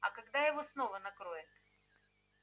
а когда его снова накроет